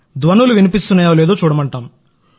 అక్కడ ధ్వనులు వినిపిస్తాయో లేదో చూడమంటాం